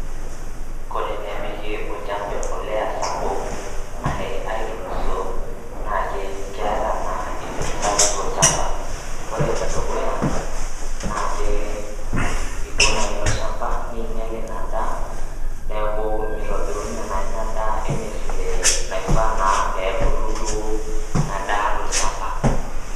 Kore enepiki olchamba embolea sapuk ashe aitulusoo naake keeta naa effect sapuk tolchamba. Kore ene dukuya naake iko naa ilo shamba niinyal ina daa neeku mitobirunye naa ina daa ene vile nafaa naa pee ebulu duo ina daa to lchamba.